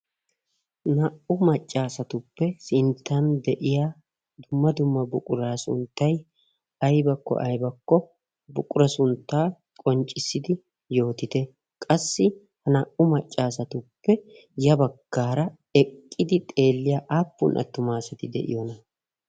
naa"u maccaasatuppe sinttan de'iya dumma dumma buqura sunttay aybakko aybakko buqura sunttaa qonccissidi yootite qassi ha naa"u maccaasatuppe ya bakkaara eqqidi xeelliyaa aappun attumaasati de'iyoona